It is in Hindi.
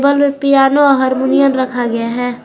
बगल में पियानो और हारमोनियम रखा गया है।